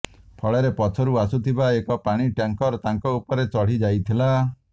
ଫଳରେ ପଛରୁ ଆସୁଥିବା ଏକ ପାଣି ଟ୍ୟାଙ୍କର ତାଙ୍କ ଉପରେ ଚଢି ଯାଇଥିଲା